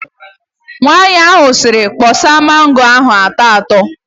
Nwaanyị ahụ sịrị, "kpọsa mango ahụ atọ atọ"!